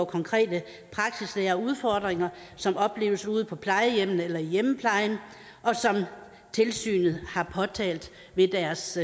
konkrete praksisnære udfordringer som opleves ude på plejehjemmene eller i hjemmeplejen og som tilsynet har påtalt ved deres